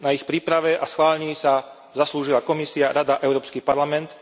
Na ich príprave a schválení sa zaslúžila Komisia, Rada a Európsky parlament.